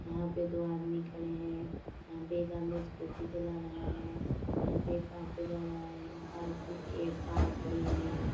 यहाँ पे दो आदमी खड़े हैं यहाँ पे एक आदमी स्कूटी चला रहा है यहाँ पे एक ऑटो जा रहा है पास में एक कार खड़ी हुई है।